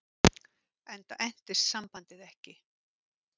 Enda entist sambandið ekki.